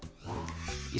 í